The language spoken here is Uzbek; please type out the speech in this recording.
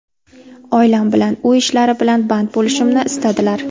Oilam bilan, uy ishlari bilan band bo‘lishimni istadilar.